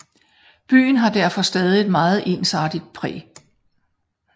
Byen har derfor stadig et meget ensartet præg